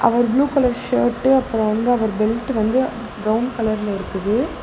அவரு blue colour shirt அப்புறம் வந்து அவர் பெல்ட் வந்து பிரவுன் கலர்ல இருக்குது.